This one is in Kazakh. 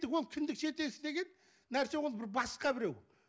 ол кіндік деген нәрсе ол бір басқа біреу